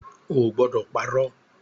Ó gbọ́dọ̀ parọ̀!